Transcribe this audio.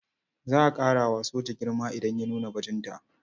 Za a ƙara wa soja girma idan ya nuna bajinta.